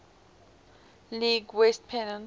league west pennant